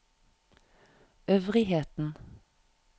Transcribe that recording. øvrigheten